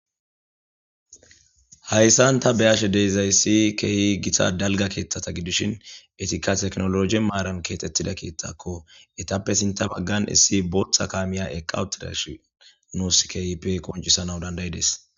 Hayssan ta beashe dezayssi keehi gita dalga keetthata gidishin etika teknologi maaran keexxettida kiittakko etappe sinta baggan issi booththa kaamiya eqawutirash nuus khip qoncisana dandayides.